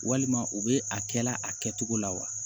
Walima u bɛ a kɛ la a kɛcogo la wa